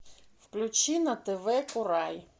включи на тв курай